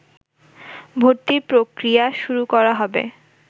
ভর্তির প্রক্রিয়া শুরু করা হবে